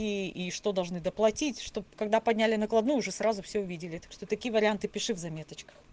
и и что должны доплатить чтобы когда подняли накладную уже сразу все увидели что такие варианты пиши в заметочках